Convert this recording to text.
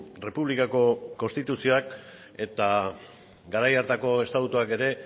errepublikako konstituzioak eta garai hartako estatutuak ere